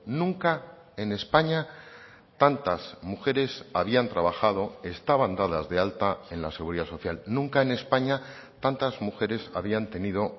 nunca en españa tantas mujeres habían trabajado estaban dadas de alta en la seguridad social nunca en españa tantas mujeres habían tenido